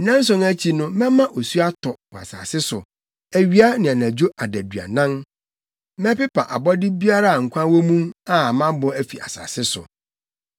Nnanson akyi no mɛma osu atɔ wɔ asase so awia ne anadwo adaduanan. Mɛpepa abɔde biara a nkwa wɔ mu a mabɔ afi asase so.”